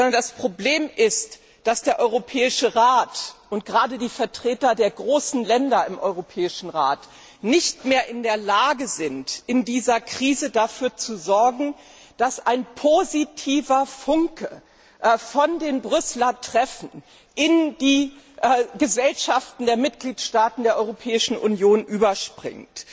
Sondern das Problem ist, dass der Europäische Rat und gerade die Vertreter der großen Länder im Europäischen Rat nicht mehr in der Lage sind, in dieser Krise dafür zu sorgen, dass ein positiver Funke von den Brüsseler Treffen in die Gesellschaften der Mitgliedstaaten der Europäischen Union überspringt.